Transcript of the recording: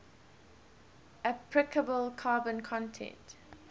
appreciable carbon content